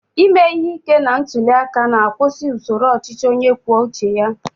Ime ihe ike na ntuli aka na-akwụsị usoro ọchịchị onye kwuo uche ya.